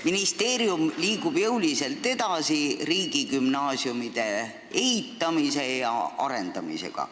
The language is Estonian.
Ministeerium liigub jõuliselt edasi riigigümnaasiumide ehitamise ja arendamisega.